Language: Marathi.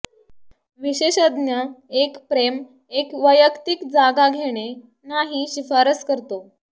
विशेषज्ञ एक प्रेम एक वैयक्तिक जागा घेणे नाही शिफारस करतो